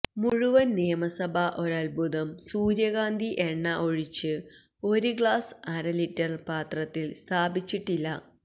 മുഴുവൻ നിയമസഭാ ഒരത്ഭുതം സൂര്യകാന്തി എണ്ണ ഒഴിച്ചു ഒരു ഗ്ലാസ് അര ലിറ്റർ പാത്രത്തിൽ സ്ഥാപിച്ചിട്ടില്ല